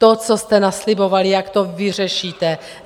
To, co jste naslibovali, jak to vyřešíte.